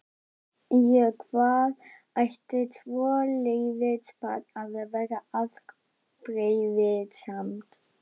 Út í hvað ætti svoleiðis barn að vera afbrýðisamt?